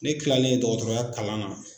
Ne kilalen dɔgɔtɔrɔya kalan na.